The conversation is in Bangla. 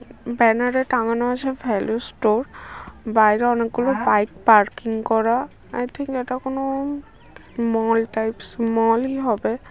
ব্যানার এ টাঙানো আছে ভ্যালু স্টোর বাইরে অনেকগুলো বাইক পার্কিং করা আই থিঙ্ক এটা কোনো-ও মল টাইপ্স মল ই হবে।